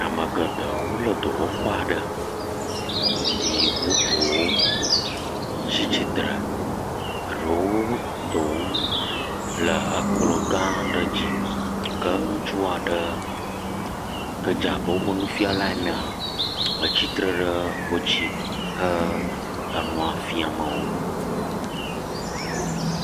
Ame geɖe wole dɔwɔƒe aɖe ye bubuwo tsi tsitre, ɖewo dɔ wɔm le kplɔ̃ gã aɖe dzi ke ŋutsu aɖe ke dze abe woƒe nufɛ̃ala enea, tsi tre ɖe wo dzi he enua fiam wo.